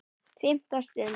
FIMMTA STUND